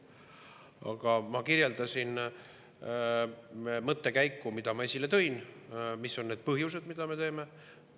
Aga ma kirjeldasin mõttekäiku, mis ma esile tõin, mis on need põhjused, miks me seda teeme.